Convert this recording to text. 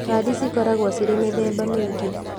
Kandĩ cikoragwo cirĩ mĩthemba mĩingĩ